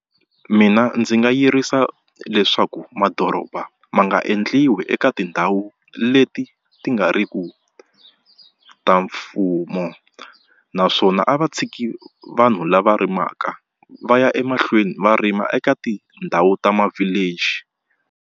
Mina ndzi nga yirisa leswaku madoroba ma nga endliwi eka tindhawu leti ti nga riki ta mfumo naswona a va tshiki vanhu lava rimaka va ya emahlweni va rima eka tindhawu ta ma-village.